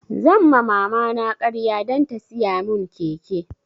Zan ma mama na ƙarya dan ta siya mun keke